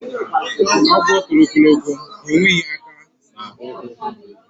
Agwo toro ogologo, ha enweghi aka na ukwu.